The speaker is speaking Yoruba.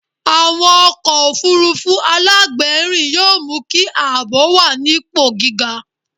Àwọn ọkọ̀ òfuurufú alágbèérìn yóò mú kí ààbò wà nípò gíga.